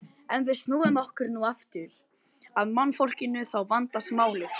En ef við snúum okkur nú aftur að mannfólkinu þá vandast málið.